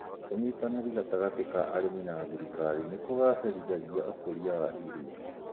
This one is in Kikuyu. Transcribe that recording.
ũnyitanĩri gatagatĩ ka arĩmi na thirikari nĩkũgacĩrithagia ũkũria wa irio